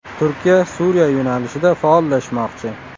Turkiya Suriya yo‘nalishida faollashmoqchi.